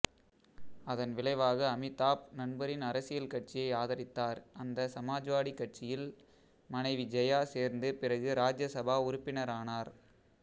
அதன்விளைவாக அமிதாப் நண்பரின் அரசியல் கட்சியை ஆதரித்தார் அந்த சமாஜ்வாடி கட்சியில் மனைவி ஜெயா சேர்ந்து பிறகு ராஜ்யசபா உறுப்பினரானார்